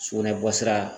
Sugunɛ bɔsira